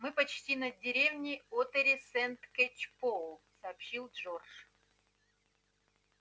мы почти над деревней оттери-сент-кэчпоул сообщил джордж